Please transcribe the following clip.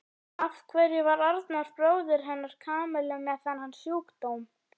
Af hverju var Arnar bróðir hennar Kamillu með þennan sjúkdóm?